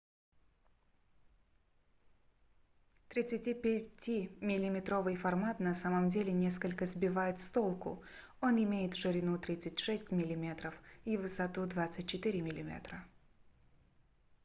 35-ти миллиметровый формат на самом деле несколько сбивает с толку он имеет ширину 36 мм и высоту 24 мм